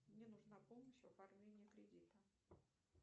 мне нужна помощь в оформлении кредита